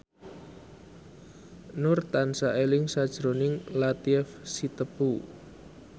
Nur tansah eling sakjroning Latief Sitepu